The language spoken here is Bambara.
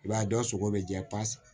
I b'a ye dɔ sogo bɛ jɛ pasi